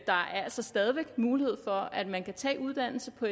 der altså stadig væk er mulighed for at man kan tage uddannelse på